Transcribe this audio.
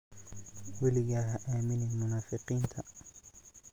Weligaa ha aaminin munaafiqiinta.